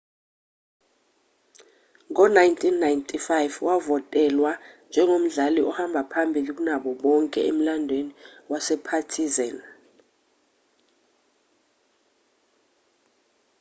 ngo-1995 wavotelwa njengomdlali ohamba phambili kunabo bonke emlandweni wasepartizan